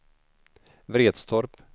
Vretstorp